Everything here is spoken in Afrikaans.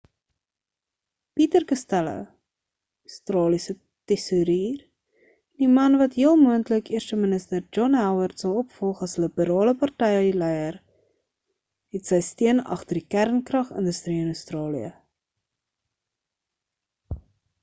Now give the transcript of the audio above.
peter costello australiese tesourier en die man wat heel moontlik eerste minister john howard sal opvolg as liberale partyleier het sy steun agter die kernkragindustrie in australië